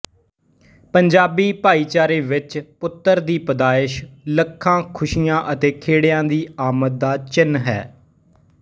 ਪੰਜਾਬੀ ਭਾਈਚਾਰੇ ਵਿੱਚ ਪੁੱਤਰ ਦੀ ਪੈਦਾਇਸ਼ ਲੱਖਾਂ ਖ਼ੁਸੀਆਂ ਅਤੇ ਖੇੜਿਆਂ ਦੀ ਆਮਦ ਦਾ ਚਿੰਨ੍ਹ ਹੈ